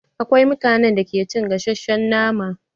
Akwai mutanen da ba su cin gasashen nama.